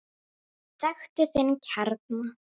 Þekktu þinn kjarna!